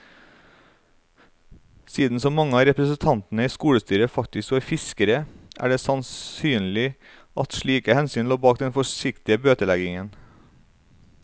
Siden så mange av representantene i skolestyret faktisk var fiskere, er det sannsynlig at slike hensyn lå bak den forsiktige bøteleggingen.